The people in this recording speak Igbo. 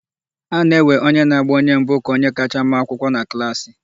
A na-ewe onye na-agba onye nke mbụ ka onye kacha ma akwụkwọ na klaasị.